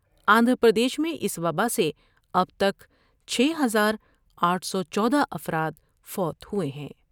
آندھرا پردیش میں اس وباء سے اب تک چھ ہزار آٹھ سو چودہ افرادفوت ہوۓ ہیں ۔